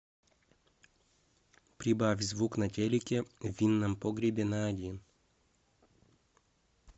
прибавь звук на телике в винном погребе на один